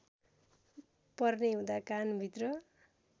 पर्ने हुँदा कानभित्र